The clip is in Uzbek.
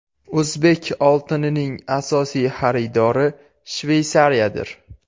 O‘zbek oltinining asosiy xaridori Shveysariyadir.